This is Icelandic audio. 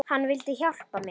Hann vildi hjálpa mér.